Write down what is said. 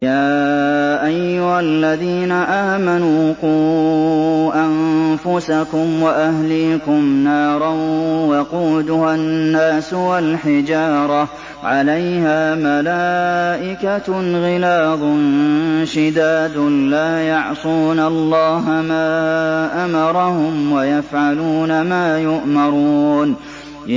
يَا أَيُّهَا الَّذِينَ آمَنُوا قُوا أَنفُسَكُمْ وَأَهْلِيكُمْ نَارًا وَقُودُهَا النَّاسُ وَالْحِجَارَةُ عَلَيْهَا مَلَائِكَةٌ غِلَاظٌ شِدَادٌ لَّا يَعْصُونَ اللَّهَ مَا أَمَرَهُمْ وَيَفْعَلُونَ مَا يُؤْمَرُونَ